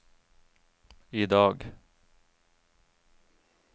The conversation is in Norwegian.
idag